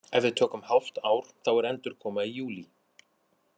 Ef við tökum hálft ár þá er endurkoma í júlí.